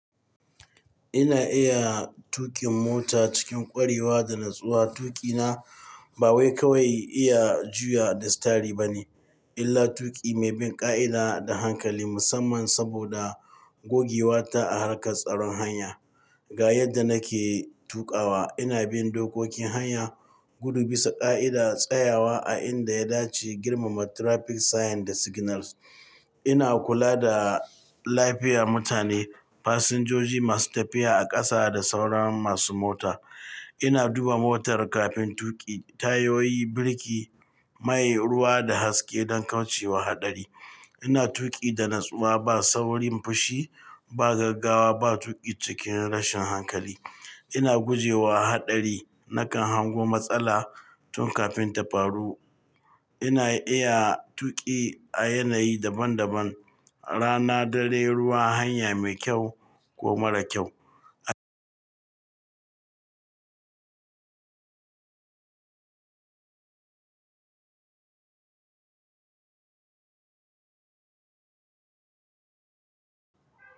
Ina iya tuƙin mota cikin ƙwarewa da natsuwa. Tuƙina ba wai kawai iya juya da sitari ba ne, illa tuƙi mai bin ƙa'ida da hankali musamman saboda gogewa ta a harkar tsaron hanya. Ga yadda nake tuƙawa, ina bin dokokin hanya, gudu bisa ƙa'ida, tsayawa a inda ya dace, girmama traffic sign da signals. Ina kula da lafiya mutane, fasinjoji masu tafiya a ƙasa da sauran masu mota. Ina duba motar kafin tuƙi, tayoyi, birki, mai, ruwa da haske don kauce wa haɗari. Ina tuƙi da natsuwa ba saurin fushi, ba gaggawa, ba tuƙi cikin rashin hankali. Ina gujewa haɗari nakan hango matsala tun kafin ta faru. Ina iya tuƙi a yanayi daban daban, rana, dare, ruwa, hanya mai kyau ko mara kyau.